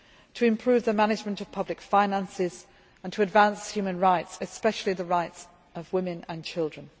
to improve the management of public finances and to advance human rights, especially the rights of women and children.